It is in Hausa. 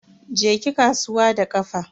Je ki kasuwa da kafa.